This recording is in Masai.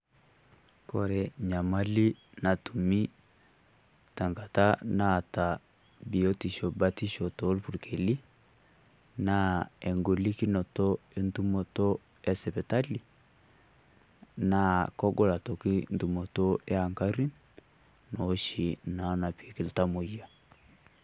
Kore nyamali natumi tenkata naata biotisho batisho too irpurkeli naa eng`olikinoto e ntumoto esipitali. Naa kogol aitoki ntumoto e aggari oshi naa napikieki iltamuoyia.